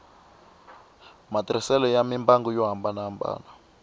matirhiselo ya mimbangu yo hambanahambana